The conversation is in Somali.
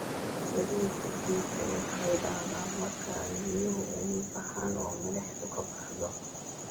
Saliidda ciidda waxay dhacdaa marka ay biyuhu uumi baxaan, oo milixdu ka baxdo.